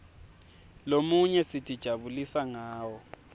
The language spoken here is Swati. lomunye sitijabulisa ngawo